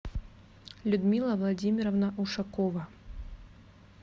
людмила владимировна ушакова